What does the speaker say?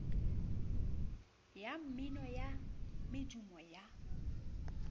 ya mmino ya medumo ya